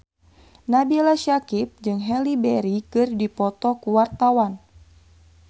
Nabila Syakieb jeung Halle Berry keur dipoto ku wartawan